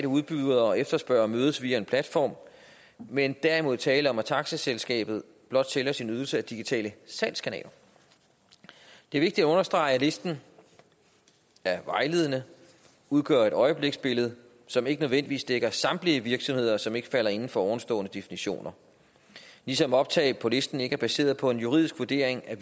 udbydere og efterspørgere mødes via en platform men derimod tale om at taxaselskabet blot sælger sin ydelse ad digitale salgskanaler det er vigtigt at understrege at listen er vejledende udgør et øjebliksbillede som ikke nødvendigvis dækker samtlige virksomheder som ikke falder inden for ovenstående definitioner ligesom optag på listen ikke er baseret på en juridisk vurdering af